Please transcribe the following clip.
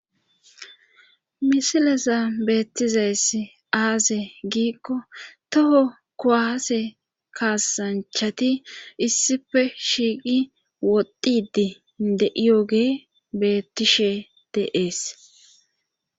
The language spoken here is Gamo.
misilesa beettizays aase giikko toho kowaase kaasanchati issife shiiqi wodidi de7iyogee beettishe deees